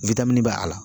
wini b'a la